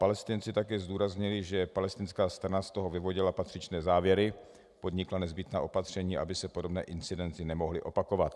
Palestinci také zdůraznili, že palestinská strana z toho vyvodila patřičné závěry, podnikla nezbytná opatření, aby se podobné incidenty nemohly opakovat.